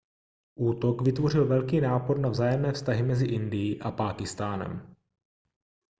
útok vytvořil velký nápor na vzájemné vztahy mezi indií a pákistánem